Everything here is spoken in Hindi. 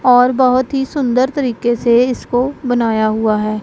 और बहोत ही सुंदर तरीके से इसको बनाया हुआ है।